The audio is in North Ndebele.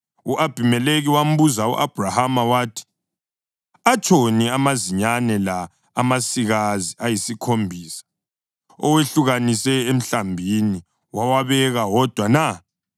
u-Abhimelekhi wambuza u-Abhrahama wathi, “Atshoni amazinyane la amasikazi ayisikhombisa owehlukanise emhlambini wawabeka wodwa na?”